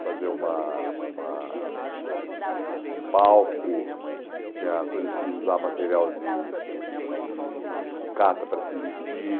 fazer uma uma um palco, tinha coisa de usar material de de sucata para se vestir.